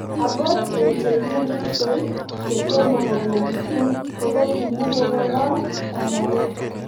Akot eng' che kiripsei che tomo kopendi sukul ko ko kimukokororn kanyaet